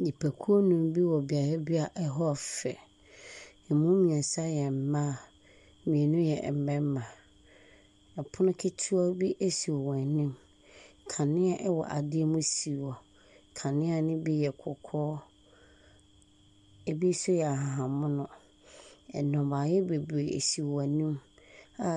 Nnipakuo nnum wɔ beaeɛ bi hɔ yɛ fɛ, ɛmu mmiɛnsa yɛ mmaa, mmienu yɛ mmarima. Pono ketewa bi si wɔn anim, kanea wɔ adeɛ mu si wɔ, kanea ne bi yɛ kɔkɔɔ, bi nso yɛ ahabanmono. Nnɔbaeɛ bebree si wɔn anim